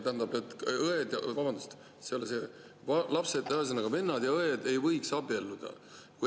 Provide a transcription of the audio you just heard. " Ühesõnaga, vennad ja õed ei võiks abielluda.